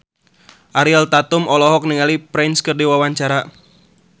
Ariel Tatum olohok ningali Prince keur diwawancara